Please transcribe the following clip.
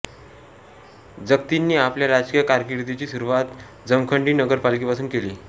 जत्तींनी आपल्या राजकीय कारकीर्दीची सुरुवात जमखंडी नगरपालिकेपासून केली